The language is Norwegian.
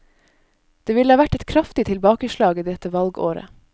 Det ville vært et kraftig tilbakeslag i dette valgåret.